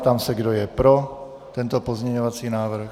Ptám se, kdo je pro tento pozměňovací návrh.?